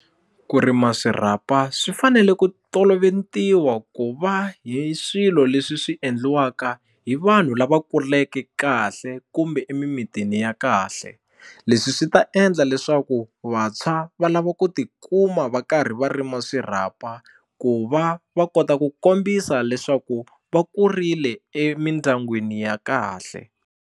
Ku rima swirhapa swi fanele ku tolovetiwa ku va hi swilo leswi swi endliwaka hi vanhu lava kuleke kahle kumbe emimitini ya kahle leswi swi ta endla leswaku vantshwa va lava ku tikuma va karhi va rima swirhapa ku va va kota ku kombisa leswaku va kurile emindyangwini ya kahle.